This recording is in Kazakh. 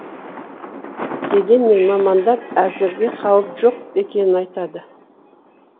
дегенмен мамандар әзірге қауіп жоқ екенін айтады